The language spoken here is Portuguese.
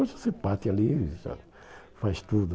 Hoje você bate ali e já faz tudo.